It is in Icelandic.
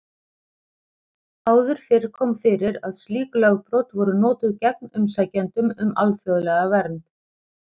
Áður fyrr kom fyrir að slík lögbrot voru notuð gegn umsækjendum um alþjóðlega vernd.